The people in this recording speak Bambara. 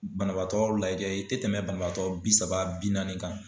Banabaatɔ lajɛ i tɛ tɛmɛn banabaatɔ bi saba bi naani kan.